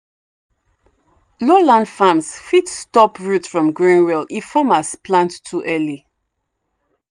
low land farms fit stop roots from growing well if farmers plant too early.